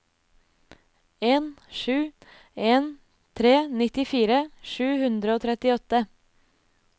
en sju en tre nittifire sju hundre og trettiåtte